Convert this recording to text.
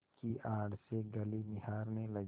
की आड़ से गली निहारने लगी